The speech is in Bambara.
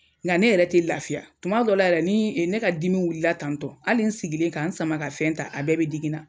Nga ne yɛrɛ te lafiya tuma dɔw la yɛrɛ ni ne ka dimi wulila tantɔn ali ne sigilen ka n sama ka fɛn ta a bɛɛ be digi n na